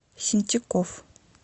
сентяков